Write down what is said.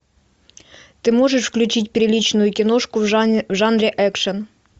ты можешь включить приличную киношку в жанре экшн